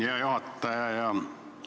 Hea juhataja!